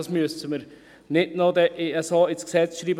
Das müssen wir also nicht noch so ins Gesetz schreiben.